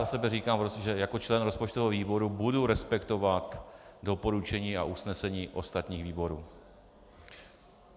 Za sebe říkám, že jako člen rozpočtového výboru budu respektovat doporučení a usnesení ostatních výborů.